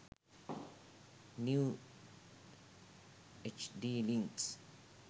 new hd links